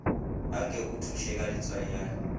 anke o thuše ka letswayana